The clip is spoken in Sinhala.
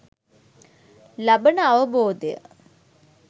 ලබන අවබෝධය